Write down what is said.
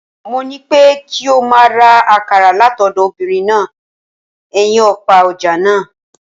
Mo ní pé kí ọ máa ra akàrà látọ̀dọ̀ obinrin náà ẹnyin òpá ọ̀ja náà.